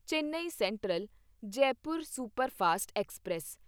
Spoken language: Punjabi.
Chennai central Jaipur superfast express